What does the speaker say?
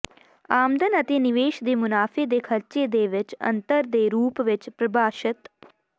ਆਮਦਨ ਅਤੇ ਨਿਵੇਸ਼ ਦੇ ਮੁਨਾਫੇ ਦੇ ਖਰਚੇ ਦੇ ਵਿੱਚ ਅੰਤਰ ਦੇ ਰੂਪ ਵਿੱਚ ਪ੍ਰਭਾਸ਼ਿਤ